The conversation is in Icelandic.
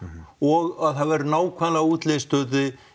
og að þau væru nákvæmlega útlistuð